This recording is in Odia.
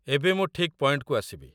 ଏବେ ମୁଁ ଠିକ୍ ପଏଣ୍ଟକୁ ଆସିବି